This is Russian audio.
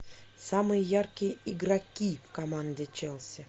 самые яркие игроки команды челси